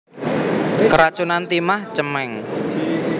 Keracunan timah cemeng